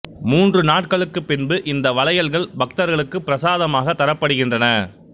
மூன்று நாட்களுக்குப் பின்பு இந்த வளையல்கள் பக்தர்களுக்கு பிரசாதமாக தரப்படுகின்றன